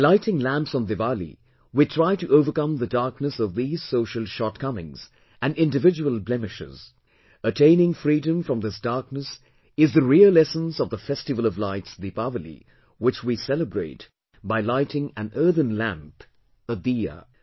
By lighting lamps on Diwali, we try to overcome the darkness of these social shortcomings and individual blemishes attaining freedom from this darkness is the real essence of the festival of lights Deepawali, which we celebrate by lighting an earthen lamp, a 'diya'